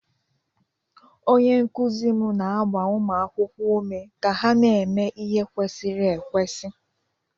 Onye nkụzi m na-agba ụmụ akwụkwọ ume ka ha na-eme ihe kwesiri ekwesị.